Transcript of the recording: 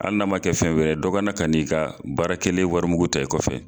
Hali n'a man kɛ fɛn wɛrɛ ye dɔ ka na ka n'i ka baara kɛlen wari mugu ta i kɔfɛ.